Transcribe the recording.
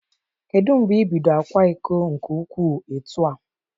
Kedu mgbe ị bid akwa iko nke ukwuu etu a?